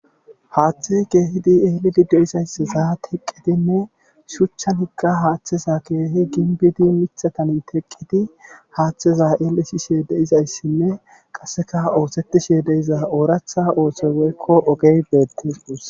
Haaththi keehidi elidi de'izayssa teqqidinne shuuchchazika haaththeza keehi gimbidi shuchchzan teqidi haaththezan ellisishe dizayssinne qassekka oosetishe de'iza osoy ooraththa oosoy woykko ogge beetes guussa.